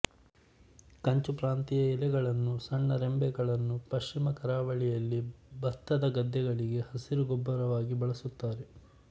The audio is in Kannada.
ಕಂಚುಪ್ರಾಂತಿಯ ಎಲೆಗಳನ್ನೂ ಸಣ್ಣ ರೆಂಬೆಗಳನ್ನೂ ಪಶ್ಚಿಮ ಕರಾವಳಿಯಲ್ಲಿ ಬತ್ತದ ಗದ್ದೆಗಳಿಗೆ ಹಸಿರು ಗೊಬ್ಬರವಾಗಿ ಬಳಸುತ್ತಾರೆ